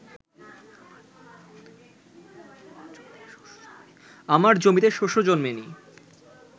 আমার জমিতে শস্য জন্মে নি